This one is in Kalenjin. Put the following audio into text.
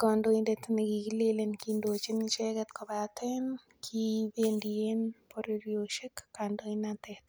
kondoindet ne kikilenen kaindochin icheget kobaten en kibendien borororisiek kandoinatet.